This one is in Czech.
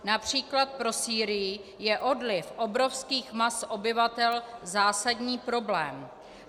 Například pro Sýrii je odliv obrovských mas obyvatel zásadní problém.